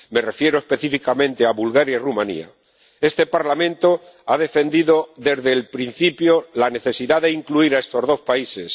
Me refiero específicamente a Bulgaria y Rumanía este Parlamento ha defendido desde el principio la necesidad de incluir a estos dos países.